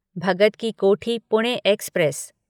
Bhagat ki Kothi Pune express